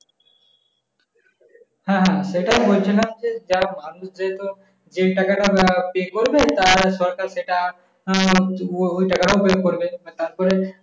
হ্যাঁ হ্যাঁ সেটাই আমি বছিলাম যে যা ভালো সেহেতু, যেই টাকাটা আহ pay করবে তা সরকার সেটা আহ ওই টাকাটাও করবে। আহ তারপরে,